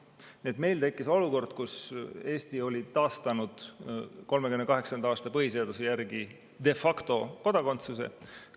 Nii et meil tekkis olukord, kus Eesti oli taastanud 1938. aasta põhiseaduse järgi de facto kodakondsuse.